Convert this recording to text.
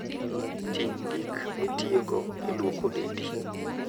Ting' gik mitiyogo e lwoko dendi.